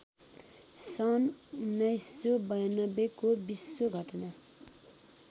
सन् १९९२ को विश्व घटना